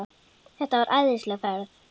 Þetta var æðisleg ferð.